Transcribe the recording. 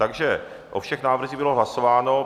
Takže o všech návrzích bylo hlasováno.